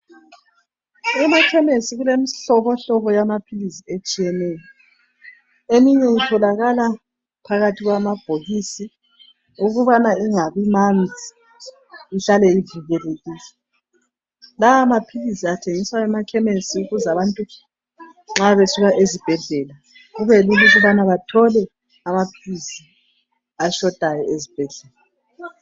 Emakhemisi kulemihlobohlobo yamaphilisi etshiyeneyo eminye itholakala phakathi kwamabhokisi ukubana ingabi manzi ihlala ivikilekile lawana amaphilisi athengiswa emakhemisi ukuze abantu nxa besuka ezibhedlela kubelula ukubana bathole amaphilisi ashotayo esibhedlela.